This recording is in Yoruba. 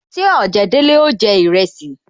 Ṣé ojedele ó jẹ iresi